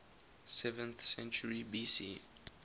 seventh century bc